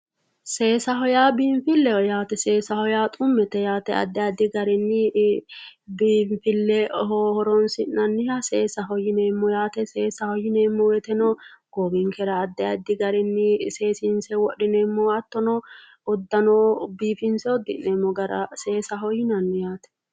Seesaho yaa biinfileho yaate ,seesaho yaa xumete yaate, xumete yaa addi addi garinni biinfileho horonsi'nanniha seesaho yineemmo yaate, seesaho yineemmo woyteno goowinkera addi addi garinni seesinse wodhineemmo hattono udano biifinse udi'neemmo gara seesaho yinnanni yaate.